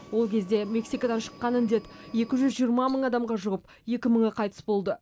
ол кезде мексикадан шыққан індет екі жүз жиырма мың адамға жұғып екі мыңы қайтыс болды